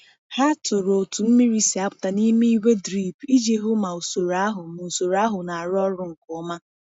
Ha tụrụ otu mmiri si apụta n’ime igwe drip iji hụ ma usoro ahụ ma usoro ahụ na-arụ ọrụ nke ọma.